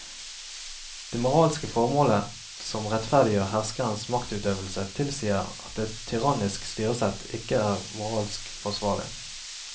Det moralske formålet som rettferdiggjør herskerens maktutøvelse tilsier at et tyrannisk styresett ikke er moralsk forsvarlig.